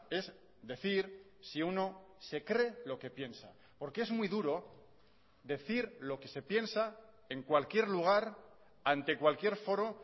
es decir si uno se cree lo que piensa porque es muy duro decir lo que se piensa en cualquier lugar ante cualquier foro